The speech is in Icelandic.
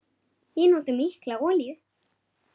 Við notum mikla olíu.